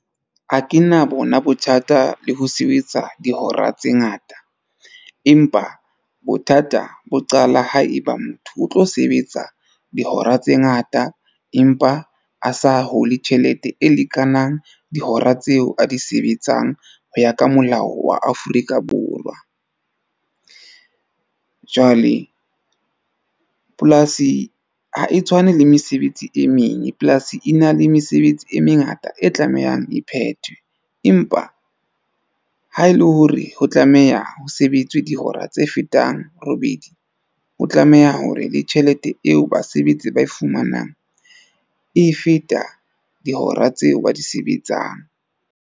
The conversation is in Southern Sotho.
Ha ke na bona bothata le ho sebetsa dihora tse ngata. Empa bothata bo qala ha eba motho o tlo sebetsa dihora tse ngata. Empa a sa hole tjhelete e lekanang dihora tseo a di sebetsang ho ya ka molao wa Afrika Borwa. Jwale polasi ha e tshwane le mesebetsi e meng. Polasi e na le mesebetsi e mengata e tlamehang e phethwe. Empa ha e le hore ho tlameha ho sebetswe dihora tse fetang robedi, o tlameha hore le tjhelete eo basebetsi ba e fumanang e feta dihora tseo ba di sebetsang.